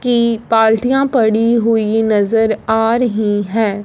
की बाल्टियां पड़ी हुई नज़र आ रही है।